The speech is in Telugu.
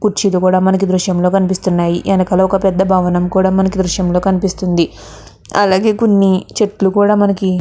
కుర్చీలు కూడా మనకి దృశయం లో కనిపిస్తునై వెనకల ఒక పేద భవనం కూడా మనకి దృశయం లో కనిపిస్తుంది అలాగే కొన్ని చెట్లు కూడా మనకి --